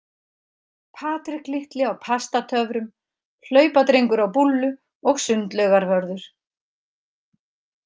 Patrik litli á Pastatöfrum, hlaupadrengur á búllu og sundlaugarvörður.